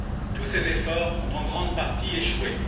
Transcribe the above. Tous ces efforts ont, en grande partie, échoué.